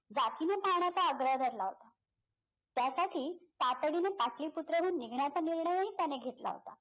पाहण्याचा आग्रह धरला होता त्यासाठी ताटडीनं पाटलीपुत्रहून निघण्याचा निर्णय ही त्याने घेतला होता